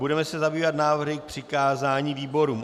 Budeme se zabývat návrhy k přikázání výborům.